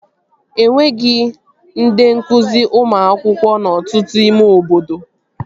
Enweghị ndị nkụzi ụmụ akwụkwọ n'ọtụtụ ime obodo